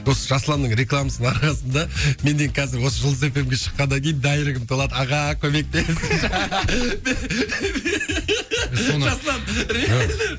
осы жасұланның рекламасының арқасында менде қазір осы жұлдыз эф эм ге шыққаннан кейін дайректім толады аға көмектес